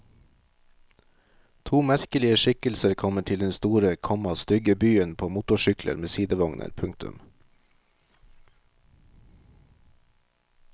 To merkelige skikkelser kommer til den store, komma stygge byen på motorsykler med sidevogner. punktum